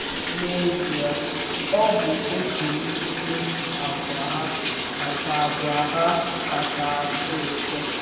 N’ezie, ọ bụ otu n’ime àgwà ha kacha àgwà ha kacha atụ ụtọ.